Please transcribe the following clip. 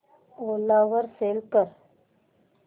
ओला वर सेल कर